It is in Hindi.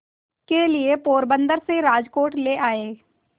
के लिए पोरबंदर से राजकोट ले आए